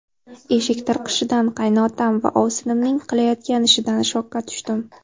Eshik tirqishidan qaynotam va ovsinimning qilayotgan ishidan shokka tushdim.